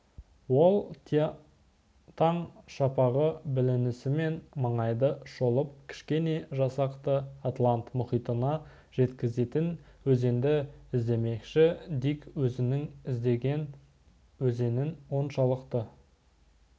ол таң шапағы білінісімен маңайды шолып кішкене жасақты атлант мұхитына жеткізетін өзенді іздемекші дик өзінің іздеген өзенін оншалықты